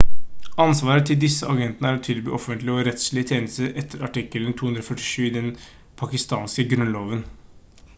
ansvaret til disse agentene er å tilby offentlige- og rettslige tjenester etter artikkel 247 i den pakistanske grunnloven